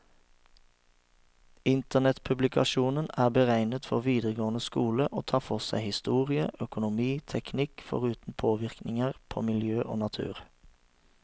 Internettpublikasjonen er beregnet for videregående skole, og tar for seg historie, økonomi, teknikk, foruten påvirkninger på miljø og natur.